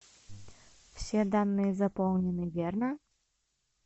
все данные заполнены верно